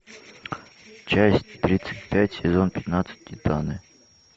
часть тридцать пять сезон пятнадцать титаны